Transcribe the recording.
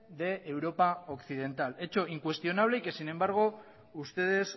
de europa occidental hecho incuestionable y que sin embargo ustedes